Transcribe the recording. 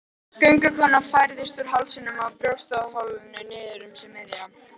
Göngukonan færðist úr hálsinum og brjóstholinu niður um sig miðja.